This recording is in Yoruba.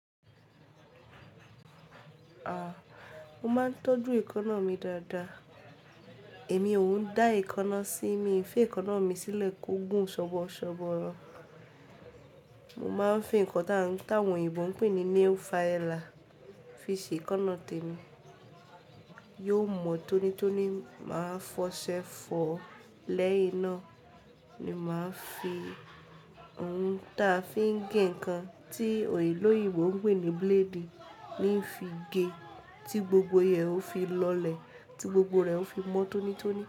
A! Mo máa ń tọ́jú èékánná mi dáadáa. Èmi ò ń dá èékánná sí, mi e fi èékánná mi sílẹ̀ kó gùn ṣọọbọṣọọbọ. Mo máa ń fi nǹkan táwọn òyìnbó ń pè ní nail filer fi ṣe èékánná tèmi. Yiò mọ tónítóní. Màá fọṣẹ fọ. Lẹ́yìn náà ni màá fi ohun táa fi ń gé nǹkan tí òyìnbó ń pè ní blade mi fi ge, tí gbogbo rẹ̀ ó fi lọlẹ̀, tí gbogbo rẹ̀ ó fi mọ́ tónítóní.